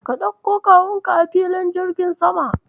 Ka ɗauko Kawunka a filin jirgin sama.